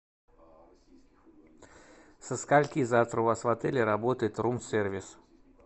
со скольки завтра у вас в отеле работает рум сервис